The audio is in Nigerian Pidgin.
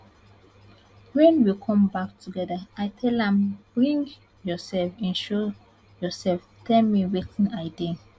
wen we come back togeda i tell am bring yourself in show yourself tell me wetin i dey